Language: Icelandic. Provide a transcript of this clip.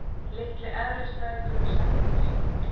Litli eðlisfræðingurinn sendir